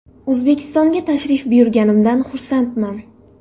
O‘zbekistonga tashrif buyurganimdan xursandman.